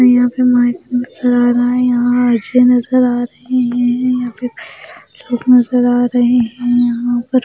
यहां पे माइक नजर आ रहा है यहां नजर आ रहे हैं या फिर लोग नजर आ रहे हैं यहां पर--